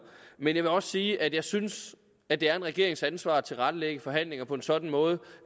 men jeg vil også sige at jeg synes at det er regeringens ansvar at tilrettelægge forhandlingerne på en sådan måde